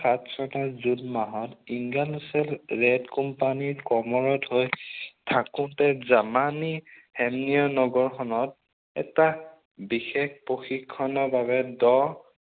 খাচছাতা June মাহত ইংগানুছেল ৰেড কোম্পানীত কৰ্মৰত হৈ থাকোতে জামানী হেমনিও নগৰখনত এটা বিশেষ প্ৰশিক্ষণৰ বাবে দহ